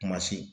Kuma se